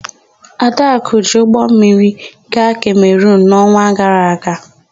Adakụ jiri ụgbọmmiri gaa Kemerunu n'ọnwa gara aga.